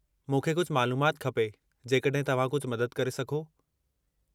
मूंखे कुझु मालूमाति खपे जेकॾहिं तव्हां कुझु मदद करे सघो।